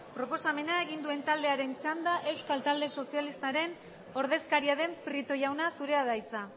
proposamena egin duen taldearen txanda euskal talde sozialistaren ordezkaria den prieto jauna zurea da hitza